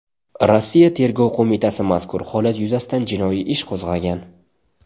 Rossiya Tergov qo‘mitasi mazkur holat yuzasidan jinoyat ishi qo‘zg‘agan .